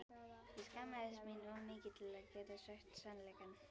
Ég skammaðist mín of mikið til að geta sagt sannleikann.